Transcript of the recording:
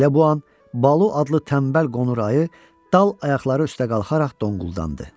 Elə bu an Balu adlı tənbəl qonur ayı dal ayaqları üstə qalxaraq donquldandı.